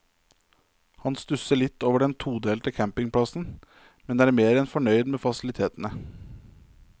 Han stusser litt over den todelte campingplassen, men er mer enn fornøyd med facilitetene.